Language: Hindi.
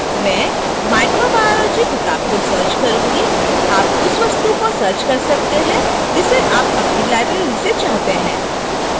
मैं microbiology किताब को search करूंगी आप उस वस्तु को search कर सकते हैं जिसे आप अपनी library से चाहते हैं